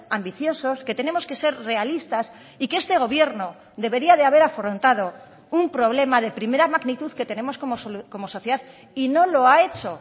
ambiciosos que tenemos que ser realistas y que este gobierno debería de haber afrontado un problema de primera magnitud que tenemos como sociedad y no lo ha hecho